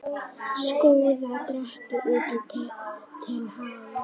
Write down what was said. Skúffa dregin út til hálfs.